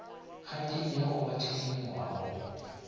kgaetšediago o a thedimoga go